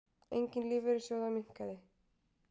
Eign lífeyrissjóða minnkaði